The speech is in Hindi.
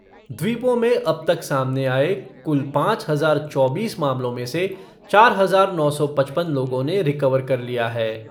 द्वीपों में अब तक सामने आए कुल पाँच हज़ार चौबीस मामलों में से चार हज़ार नौ सौ पचपन लोगों ने रिकवर कर लिया है।